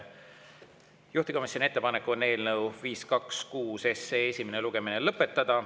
Juhtivkomisjoni ettepanek on eelnõu 526 esimene lugemine lõpetada.